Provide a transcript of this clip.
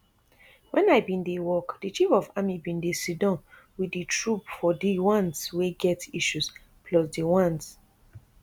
wen i bin dey work di chief of army bin dey sidon wit di troop from di ones wey get issues plus di ones